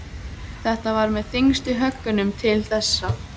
Þetta var með þyngstu höggunum til þessa.